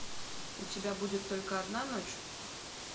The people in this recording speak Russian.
у тебя будет только одна ночь